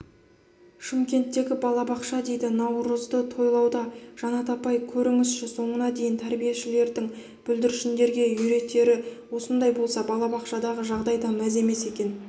шымкентегі балабақша дейді наурызды тойлауда жанат апай көріңізші соңына дейін тәрбиешілердің бүлдіршіндерге үйретері осындай болса бақшадағы жағдай да мәз емес екен